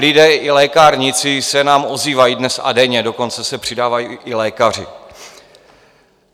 Lidé i lékárníci se nám ozývají dnes a denně, dokonce se přidávají i lékaři.